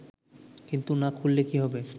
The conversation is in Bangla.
কিন্তু না খুললে কী হবে